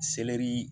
Selɛri